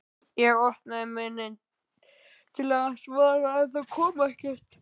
Ég opnaði munninn til að svara en það kom ekkert.